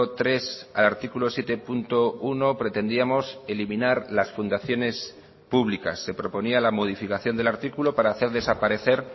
tres al artículo siete punto uno pretendíamos eliminar las fundaciones públicas se proponía la modificación del artículo para hacer desaparecer